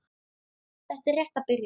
Þetta er rétt að byrja